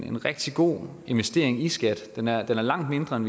en rigtig god investering i skat den er langt mindre end